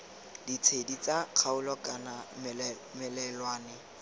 ditshedi tsa kgaolo kana melelwane